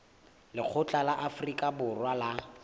lekgotla la afrika borwa la